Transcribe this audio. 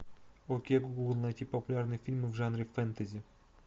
окей гугл найти популярные фильмы в жанре фэнтези